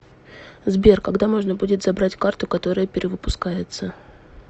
сбер когда можно будет забрать карту которая перевыпускается